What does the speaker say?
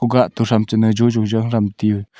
ougah to thramchana jojona thram tue.